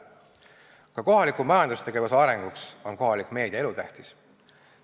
Ka kohaliku majandustegevuse arenguks on kohalik meedia elutähtis.